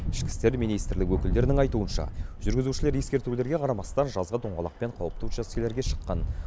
ішкі істер министрлігі өкілдерінің айтуынша жүргізушілер ескертулерге қарамастан жазғы дөңгелекпен қауіпті учаскелерге шыққан